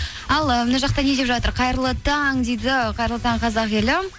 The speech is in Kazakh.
ал ы мына жақта не деп жатыр қайырлы таң дейді қайырлы таң қазақ елі